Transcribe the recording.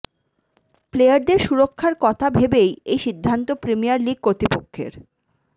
প্লেয়ারদের সুরক্ষার কথা বেবেই এই সিদ্ধান্ত প্রিমিয়ার লিগ কর্তৃপক্ষের